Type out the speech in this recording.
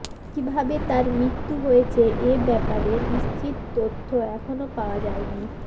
কিভাবে তার মৃত্যু হয়েছে এ ব্যাপারে নিশ্চিত তথ্য এখনো পাওয়া যায়নি